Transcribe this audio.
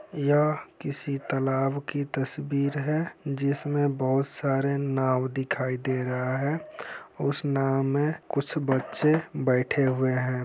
यह किसी तालाब की तस्वीर है जिसमे बहोत सारे नाव दिखाई दे रहा हैं उस नाव मे कुछ बच्चे बेठे हुए हैं।